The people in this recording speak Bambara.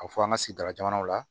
A bɛ fɔ an ka sigida jamanaw la